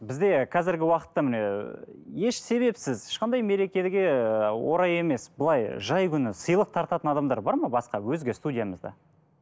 бізде қазіргі уақытта міне еш себепсіз ешқандай мерекеге орай емес былай жай күні сыйлық тартатын адамдар бар ма басқа өзге студиямызда